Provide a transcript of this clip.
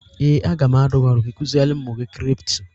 Ee, a ga m adụ gị ọdụ ka ị kuziere ụmụ gị kripto